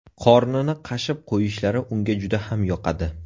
Qornini qashib qo‘yishlari unga juda ham yoqadi.